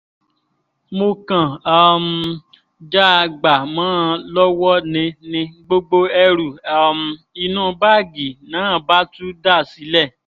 mo kàn um já a gbà mọ́ ọn lọ́wọ́ ni ni gbogbo ẹrù um inú báàgì náà bá tú dà sílẹ̀